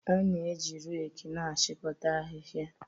A na-eji reki na-achịkọta ahịhịa